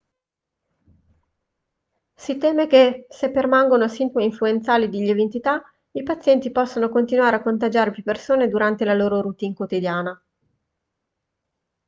si teme che se permangono sintomi influenzali di lieve entità i pazienti possano continuare a contagiare più persone durante la loro routine quotidiana